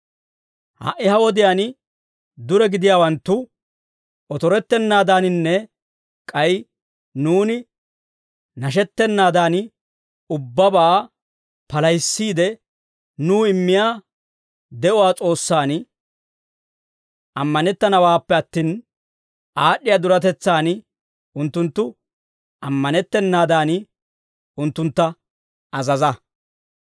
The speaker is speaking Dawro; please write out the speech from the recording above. Ha"i ha wodiyaan dure gidiyaawanttu otorettennaadaaninne k'ay nuuni nashettanaadan, ubbabaa palahissiide Nuw immiyaa de'uwaa S'oossaan ammanettanawaappe attin, aad'd'iyaa duretetsaan unttunttu ammanettennaadan, unttuntta azaza.